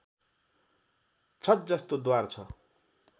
छत जस्तो द्वार छ